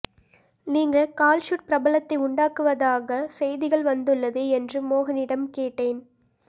நீங்க கால்ஷீட் ப்ராபளத்தை உண்டாக்குவதாக செய்திகள் வந்துள்ளதே என்று மோகனிடம் கேட்டேன்